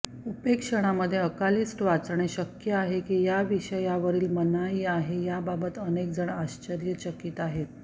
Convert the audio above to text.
उपेक्षणामध्ये अकालीिस्ट वाचणे शक्य आहे की या विषयावरील मनाई आहे याबाबत अनेक जण आश्चर्यचकित आहेत